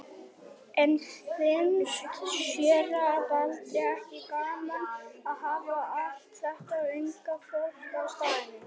En finnst séra Baldri ekki gaman að hafa allt þetta unga fólk á staðnum?